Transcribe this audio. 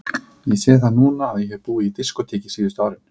Ég sé það núna að ég hef búið í diskóteki síðustu árin.